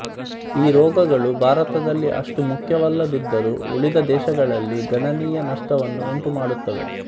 ಈ ರೋಗಗಳು ಭಾರತದಲ್ಲಿ ಅಷ್ಟು ಮುಖ್ಯವಲ್ಲದಿದ್ದರೂ ಉಳಿದ ದೇಶಗಳಲ್ಲಿ ಗಣನೀಯ ನಷ್ಟವನ್ನು ಉಂಟುಮಾಡುತ್ತವೆ